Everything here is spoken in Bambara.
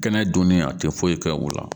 Kɛnɛ dunni a tɛ foyi kɛ o la